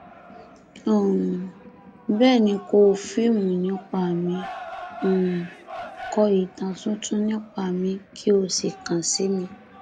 um bẹẹ ni kò fíìmù nípa mi um kọ ìtàn tuntun nípa mi kí ó sì kàn sí mi